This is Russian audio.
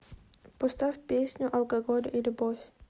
поставь песня алкоголь и любовь